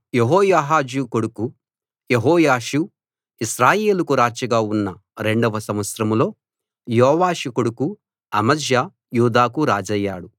యెహోయాహాజు కొడుకు యెహోయాషు ఇశ్రాయేలుకు రాజుగా ఉన్న రెండో సంవత్సరంలో యోవాషు కొడుకు అమజ్యా యూదాకు రాజయ్యాడు